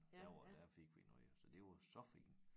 Der var der fik vi noget jo så det var så fint